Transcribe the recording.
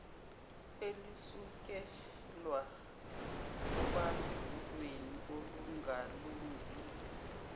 elisukela obandlululweni olungalungile